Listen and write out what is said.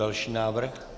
Další návrh.